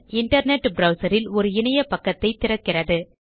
internet browser ல் ஒரு இணைய பக்கத்தைத் திறக்கிறது